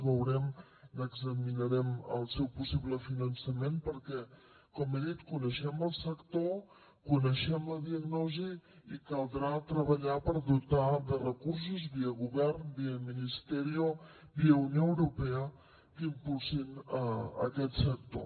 veurem n’examinarem el seu possible finançament perquè com he dit coneixem el sector coneixem la diagnosi i caldrà treballar per dotar lo de recursos via govern via ministerio via unió europea que impulsin aquest sector